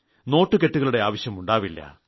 നോട്ടുകെട്ടുകളുടെ ആവശ്യമുണ്ടാവില്ല